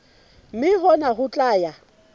mme hona ho tla ya